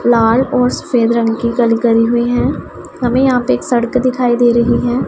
लाल और सफेद रंग की कली करी हुई हैं हमें यहां पे एक सड़क दिखाई दे रही है।